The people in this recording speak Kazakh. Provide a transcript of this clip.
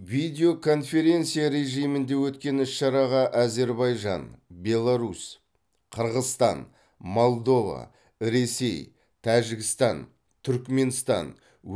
видео конференция режимінде өткен іс шараға әзербайжан беларусь қырғызстан молдова ресей тәжікстан түрікменстан